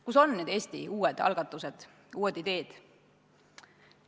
Kus on Eesti uued algatused, uued ideed?